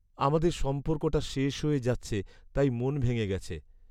আমাদের সম্পর্কটা শেষ হয়ে যাচ্ছে তাই মন ভেঙে গেছে।